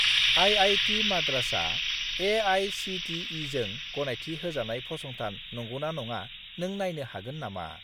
IIT. माद्रासआ ए.आइ.सि.टि.इ.जों गनायथि होजानाय फसंथान नंगौना नङा नों नायनो हागोन नामा?